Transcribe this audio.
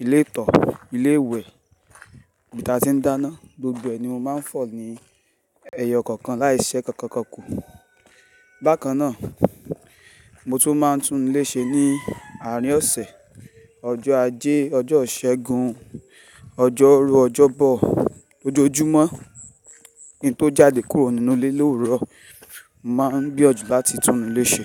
ilé ìtọ̀, ilé ìwẹ̀, ibi tí a ti ń dáná, gbogbo ẹni mo máa ń fọ̀ ní ẹyọ kọ̀ọ̀kan láìṣẹ́ kankan kankan ku. Bákan náà, mo tún máa ń túnléṣe ní àárín ọ̀sẹ̀. Ọjọ́ ajé, ọjọ́ ìṣẹ́gun, ọjọ́rú, ọjọ́bọ̀, lójoojúmọ́. Kin tó jáde kúrò nínú ilé l'òwúrọ̀, màá gbiyan jù lá ti túnuléṣe.